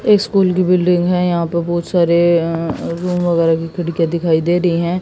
School की building है यहां पे बहुत सारे अह रुम वगैरह की खिड़कियां दिखाई दे रही हैं।